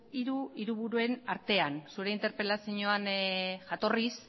hiru hiriburuen artean zure interpelazioan jatorriz